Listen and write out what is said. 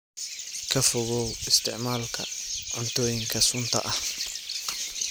Ka fogow isticmaalka cuntooyinka sunta ah.